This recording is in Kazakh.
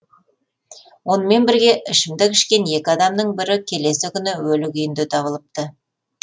онымен бірге ішімдік ішкен екі адамның бірі келесі күні өлі күйінде табылыпты